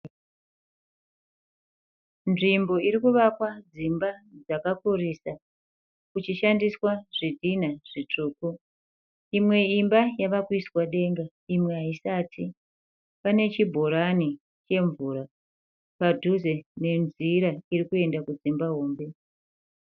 Nzvimbo irikuvakwa dzimba dzakakurisa kuchishandiswa zvidhinha zvitsvuku. Imwe imba yave kuiswa denga imwe haisati. Pane chibhorani chemvura padhuze nenzira iri kuenda kudzimba hombe.